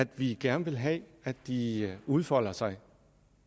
vi gerne vil have at de udfolder sig